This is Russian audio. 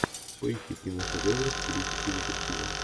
поищи киношедевры в стилистике детектива